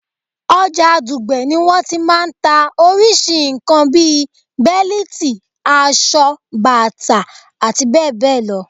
Ọjà Dùgbẹ̀ ni wọ́n ti máa ń ta orísìí nǹkan bi bẹ́líìtì, aṣọ, bàtà, abbl.